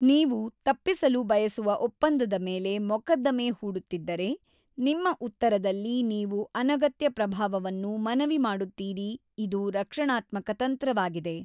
ನೀವು ತಪ್ಪಿಸಲು ಬಯಸುವ ಒಪ್ಪಂದದ ಮೇಲೆ ಮೊಕದ್ದಮೆ ಹೂಡುತ್ತಿದ್ದರೆ, ನಿಮ್ಮ ಉತ್ತರದಲ್ಲಿ ನೀವು ಅನಗತ್ಯ ಪ್ರಭಾವವನ್ನು ಮನವಿ ಮಾಡುತ್ತೀರಿ, ಇದು ರಕ್ಷಣಾತ್ಮಕ ತಂತ್ರವಾಗಿದೆ.